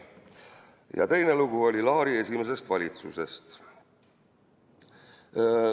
Ja teine lugu oli Laari esimesest valitsusest.